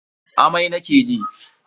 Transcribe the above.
Amai nake ji.